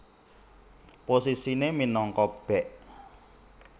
Posisine minangka bèk